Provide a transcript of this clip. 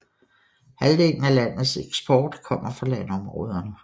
Halvdelen af landets eksport kommer fra landområderne